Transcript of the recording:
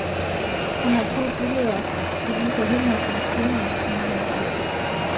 Han har to billeder, der viser henholdsvis kvindens og mandens alder.